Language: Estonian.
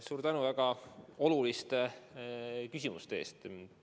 Suur tänu väga oluliste küsimuste eest!